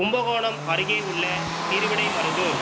கும்பகோணம் அருகேயுள்ள திருவிடைமருதூர்